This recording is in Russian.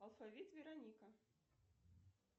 алфавит вероника